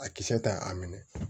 A kisɛ ta a minɛ